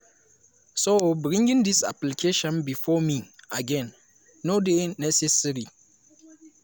so bringing dis application bifor me again no dey necessary.